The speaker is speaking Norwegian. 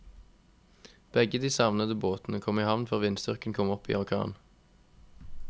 Begge de savnede båtene kom i havn før vindstyrken kom opp i orkan.